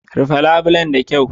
Rufe labulen da kyau